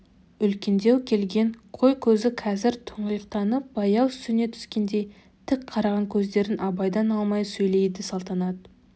үлкендеу келген қой көзі қазір тұңғиықтанып баяу сөне түскендей тік қараған көздерін абайдан алмай сөйлейді салтанат